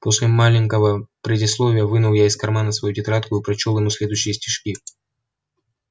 после маленького предисловия вынул я из кармана свою тетрадку и прочёл ему следующие стишки